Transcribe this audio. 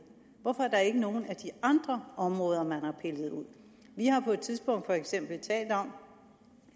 hvorfor er der ikke nogen af de andre områder man har pillet ud vi har på et tidspunkt for eksempel talt om